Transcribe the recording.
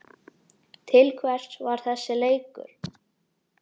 Til hvers var þessi leikur?